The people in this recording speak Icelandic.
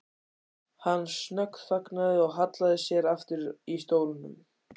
Hann snöggþagnaði og hallaði sér aftur í stólnum.